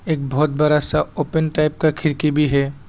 एक बहुत बड़ा सा ओपन टाइप का खिड़की भी है।